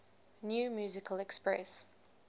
new musical express